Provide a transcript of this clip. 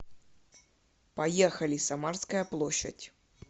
поехали самарская площадь